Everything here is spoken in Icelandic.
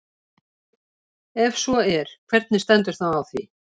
Ef svo er, hvernig stendur þá á því?